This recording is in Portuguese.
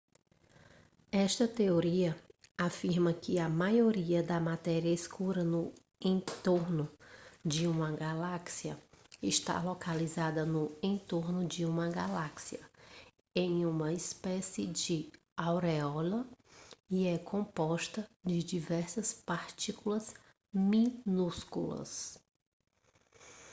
esta teoria afirma que a maioria da matéria escura no entorno de uma galáxia está localizada no entorno de uma galáxia em uma espécie de auréola e é composta de diversas partículas minúsculas